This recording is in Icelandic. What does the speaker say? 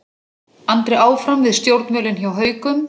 Andri áfram við stjórnvölinn hjá Haukum